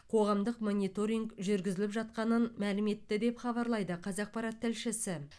қоғамдық мониторинг жүргізіліп жатқанын мәлім етті деп хабарлайды қазақпарат тілшісі